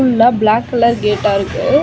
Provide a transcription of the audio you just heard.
ஃபுல்லா black colour கேட்டா இருக்கு.